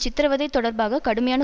சித்ரவதை தொடர்பாக கடுமையான